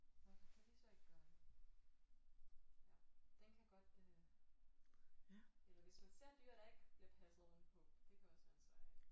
Hvorfor kan vi så ikke gøre det? Ja den kan godt øh eller hvis man ser et dyr der ikke bliver passet ordentligt på det kan også være en svær en